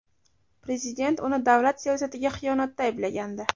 Prezident uni davlat siyosatiga xiyonatda ayblagandi.